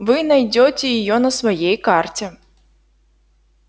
вы найдёте её на своей карте